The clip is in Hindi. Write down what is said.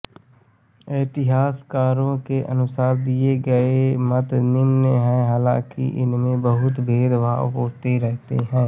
इतिहासकारों के अनुसार दिये गए मत निम्न हैं हालांकि इनमें बहुंत मतभेद होते रहते हैं